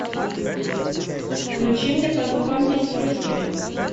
включи мне познакомьтесь с русскими